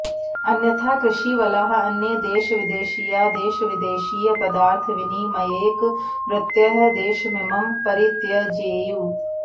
अन्यथा कृषीवलाः अन्ये देशविदेशीयाः देशविदेशीयपदार्थविनिमयैक वृत्तयः देशमिमं परित्यजेयुः